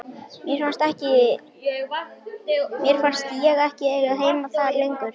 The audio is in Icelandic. Mér fannst ég ekki eiga heima þar lengur.